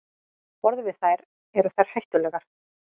Borðum við þær, eru þær hættulegar?